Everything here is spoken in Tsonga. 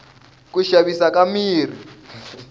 ku xavisa ka mirhi